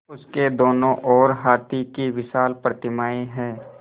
उसके दोनों ओर हाथी की विशाल प्रतिमाएँ हैं